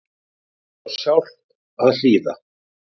Veit oss hjálp að hlýða